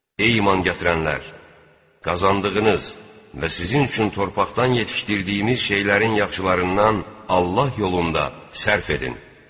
Ey iman gətirənlər, qazandığınız və sizin üçün torpaqdan yetişdirdiyimiz şeylərin yaxşılarından Allah yolunda sərf edin.